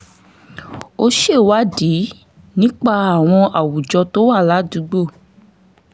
ó ṣèwádìí nípa àwọn àwùjọ tó wà ládùúgbò